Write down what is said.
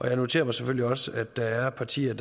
jeg noterer mig selvfølgelig også at der er partier